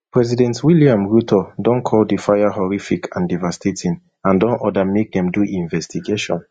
president william ruto don call di fire horrific and devastating and don order make dem do investigation